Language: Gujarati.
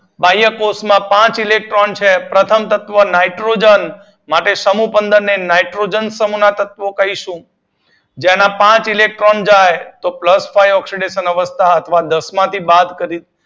બાહ્ય કોષ્ટ માં પાંચ ઈએક્ટ્રોન છે પ્રથમ તત્વ નાઇટ્રોજન. માટે સમૂહ પંદર ને નાઇટ્રોજન સમૂહ ના તત્વો કહીશું. તેના પાંચ ઇલેક્ટ્રોન જાય તો પ્લસ ફાઇવ ઓક્સીડેશન અવસ્થા દસ માંથી બાદ કરીશું